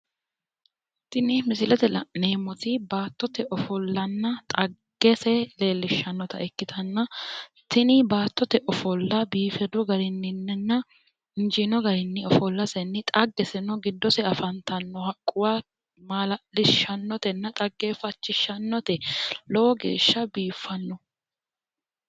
Tini misilete la'neemmoti baattote ofollanna xaggese leellishshannota ikkitanna, tini baattote ofolla biifidu garinninninna injiino garinni ofollasenni xaggeseno giddose afantanno haqquwa maala'lishshannotenna xaggeeffachishshannote lowo geeshsha biiffanno.